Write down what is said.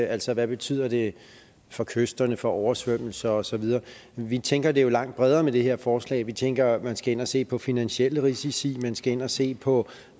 altså hvad betyder det for kysterne for oversvømmelse og så videre vi tænker det jo langt bredere med det her forslag vi tænker at man skal ind og se på finansielle risici man skal ind og se på